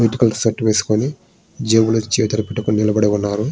Itukula shirt వేసుకొని జాబీలో చేతులు పెట్టుకొని నిలబడియున్నారు.